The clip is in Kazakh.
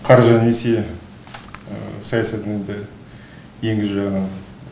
қаржы несие саясатын да енгізу жағынан